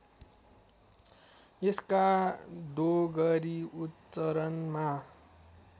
यसका डोगरी उच्चरणमा